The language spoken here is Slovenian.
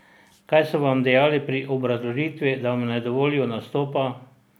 Kaj so vam dejali pri obrazložitvi, da vam ne dovolijo nastopa?